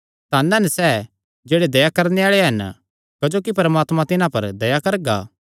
धन हन सैह़ जेह्ड़े दया करणे आल़े हन क्जोकि परमात्मा तिन्हां पर दया करगा